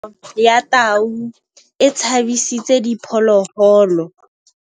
Katamêlô ya tau e tshabisitse diphôlôgôlô.